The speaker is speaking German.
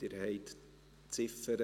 Abstimmung (2019.RRGR.187; Ziff.